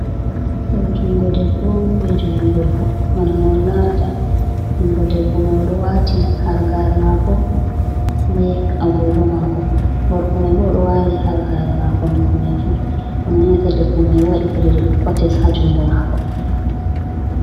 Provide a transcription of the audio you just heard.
Do jungo debbo on, be jungo gurko bana no on larata. Jungo debbo mai odo wati halgare mako be agugo mako. Gorko mai bo do wadi halgare mako hanko mai fu, bana on yi'ata debbo mai wadi kujeje do kotes ha jungo mako.